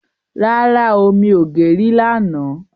ràrá ọ mí ọ gé rí là nà.